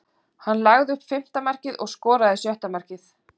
Hann lagði upp fimmta markið og skoraði sjötta markið.